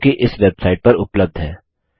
जोकि इस वेबसाइट पर उपलब्ध है